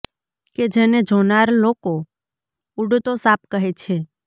કે જે ને જોનાર લોકો ઉડ્તો સાપ કહે છે